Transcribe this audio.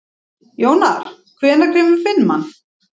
Jónar, hvenær kemur fimman?